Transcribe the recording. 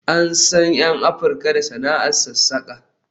An san 'yan Afirka da sana'ar sassaƙa